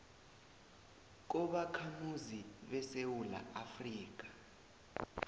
kobakhamuzi besewula afrika